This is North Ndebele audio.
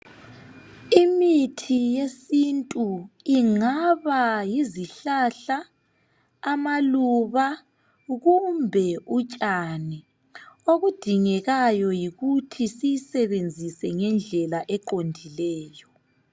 Imithi yesintu ingaba yizihlahla, amaluba kumbe utshani. Okudingekayo yikuthi siyisebenzise ngendlela eqondileyo.